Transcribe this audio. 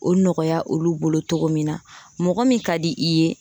O nɔgɔya olu bolo cogo min na, mɔgɔ min ka di i ye.